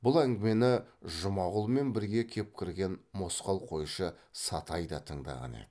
бұл әңгімені жұмағұлмен бірге кеп кірген мосқал қойшы сатай да тыңдаған еді